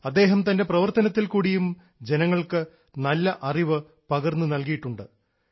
അദ്ദേഹം തൻറെ പ്രവർത്തനത്തിൽക്കൂടിയും ജനങ്ങൾക്ക് നല്ല അറിവ് പകർന്നു നൽകിയിട്ടുണ്ട്